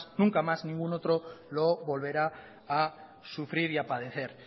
nunca más ningún otro lo volverá a sufrir y a padecer